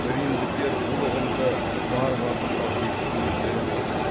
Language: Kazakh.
римдіктер бұл ұғымды варварлықтар деп өздері атаған